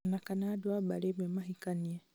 ona kana andũ a mbarĩ ĩmwe mahikanie